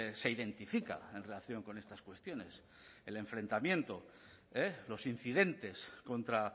se identifica en relación con estas cuestiones el enfrentamiento los incidentes contra